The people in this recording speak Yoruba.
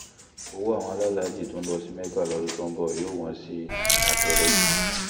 ọ̀wọ́ àwọn alálàájí tó ń lọ sí mẹ́ka lọ́dún tó ń bọ̀ yóò wọ́n sí i àtẹ̀rẹ́